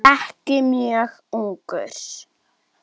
Ekki mjög ungur.